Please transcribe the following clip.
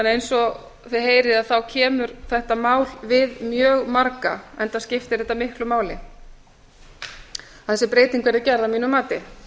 eins og þið heyrið kemur þetta mál við mjög marga enda skiptir þetta miklu máli að þessi breyting verði gerð að mínu mati